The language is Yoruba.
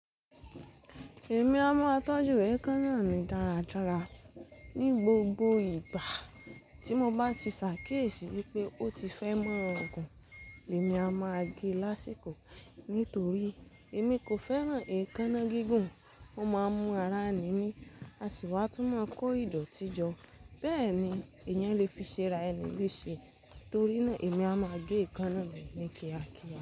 Èmi a máa tọ́jú èékánná mi dáradára. Ni gbogbo ìgbà tí mo bá ti ṣàkéṣì wípé ó ti fẹ́ mọ́ ọ̀gùn, èmi a máa gé lásìkò. Nítorí èmi kò fẹ́ràn èékánná gígùn, ó máa ń mú ara ni mi, a sì wá tún máa ń kó ìdọ̀tí jọ. Bẹ́ẹ̀ ni èèyàn lè fi ṣe ara ẹni ní i ṣe torí náà èmi a máa gé èékánná mi ní kíákíá.